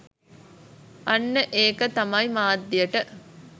අන්න ඒක තමයි මාධ්‍යයට